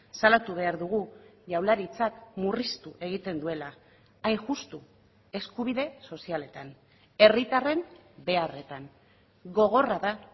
salatu behar dugu jaurlaritzak murriztu egiten duela hain justu eskubide sozialetan herritarren beharretan gogorra da